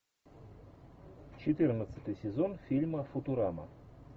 четырнадцатый сезон фильма футурама